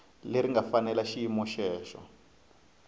leri nga fanela xiyimo xexo